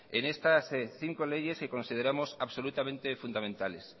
en estas cinco leyes que consideramos absolutamente fundamentales